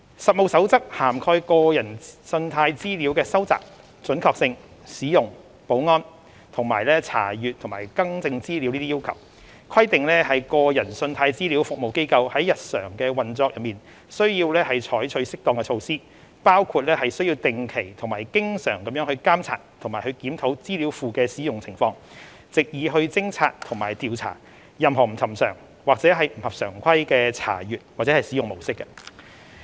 《實務守則》涵蓋個人信貸資料的收集、準確性、使用、保安，以及查閱及更正資料等要求，規定個人信貸資料服務機構在日常運作中須採取適當的措施，包括須定期及經常監察及檢討資料庫的使用情況，藉以偵察及調查任何不尋常或不合常規的查閱或使用模式。